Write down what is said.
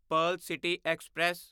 Pearl city express